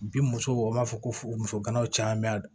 Bi musow u b'a fɔ ko muso ganaw caaman